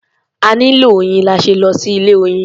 A nílò oyin la ṣe lọ sí ilé-oyin.